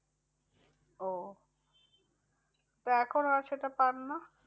ও তো এখন আর সেটা পাননা?